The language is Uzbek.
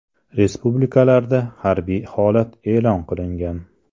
Respublikalarda harbiy holat e’lon qilingan.